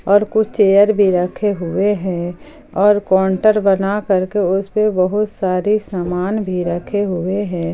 और कुछ चेयर भी रखे हुए हैं और काउंटर बना करके उस पे बहुत सारे सामान भी रखे हुए हैं।